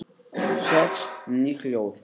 Sex ný hlið